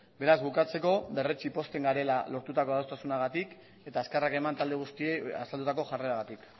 beraz bukatzeko berretsi pozten garela lortutako adostasunagatik eta eskerrak eman talde guztiei azaldutako jarreragatik